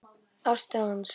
Ástu hans